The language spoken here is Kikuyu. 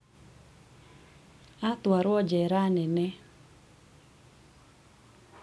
atũarwo jera nene